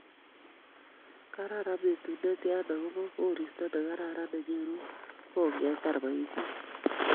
Kararan betut netya, agoba koristo negararan nenyoru kogetar boisiet